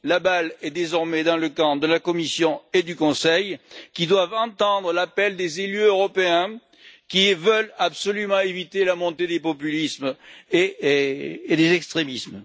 La balle est désormais dans le camp de la Commission et du Conseil, qui doivent entendre l'appel des élus européens qui veulent absolument éviter la montée des populismes et des extrémismes.